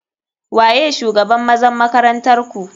Waye shugaban ,mazan makaranntarku.